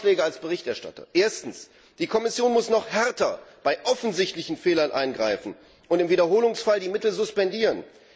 Meine Vorschläge als Berichterstatter Erstens muss die Kommission noch härter bei offensichtlichen Fehlern eingreifen und im Wiederholungsfall die Mittel suspendieren.